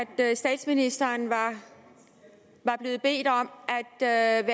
statsministeren var blevet bedt om at